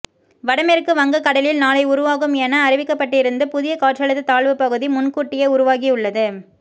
வடமேற்கு வங்கக் கடலில் நாளை உருவாகும் என அறிவிக்கப்பட்டிருந்து புதிய காற்றழுத்த தாழ்வுப் பகுதி முன்கூட்டியே உருவாகியுள்ளது